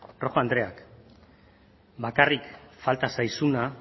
rojo andrea bakarrik falta zaizuna